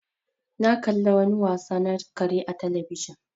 Na ƙalla wani wasa na kare a telebijin